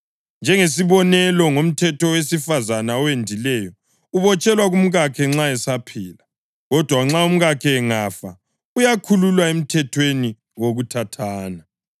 Njengesibonelo, ngomthetho owesifazane owendileyo ubotshelwe kumkakhe nxa esaphila, kodwa umkakhe angafa, uyakhululwa emthethweni wokuthathana.